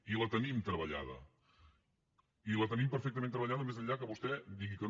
i la tenim treballada i la tenim perfectament treballada més enllà que vostè digui que no